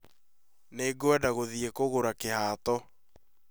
Nĩngwenda gũthiĩ kũgũra kĩhato